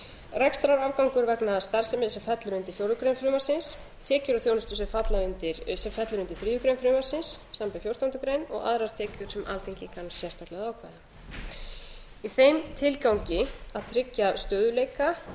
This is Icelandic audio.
rekstrarafgangur vegna starfsemi sem fellur undir fjórða grein frumvarpsins tekjur af þjónustu sem fellur undir þriðju greinar frumvarpsins samanber fjórtándu greinar og aðrar tekjur sem alþingi kann sérstaklega að ákveða í þeim tilgangi að tryggja stöðugleika